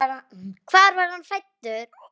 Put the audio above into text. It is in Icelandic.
Hvar var hann fæddur?